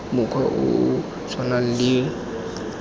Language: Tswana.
mokgwa o o tshwanang le